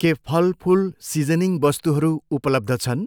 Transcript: के फल, फुल, सिजनिङ वस्तुहरू उपलब्ध छन्?